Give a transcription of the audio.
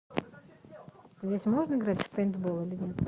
здесь можно играть в пейнтбол или нет